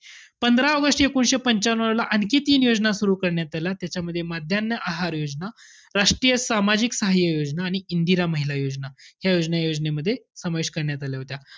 पंधरा ऑगस्ट एकोणीशे पंच्यानऊला, आणखी तीन योजना सुरु करण्यात आल्या. त्याच्यामध्ये माध्यान्ह आहार योजना, राष्ट्रीय सामाजिक साहाय्य योजना आणि इंदिरा महिला योजना, या योजना या योजनेमध्ये समावेश करण्यात आल्या होत्या.